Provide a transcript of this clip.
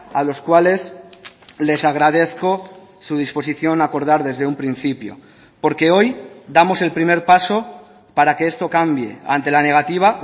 a los cuales les agradezco su disposición a acordar desde un principio porque hoy damos el primer paso para que esto cambie ante la negativa